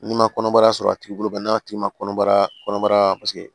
N'i ma kɔnɔbara sɔrɔ a tigi bolo n'a tigi ma kɔnɔbara kɔnɔbara paseke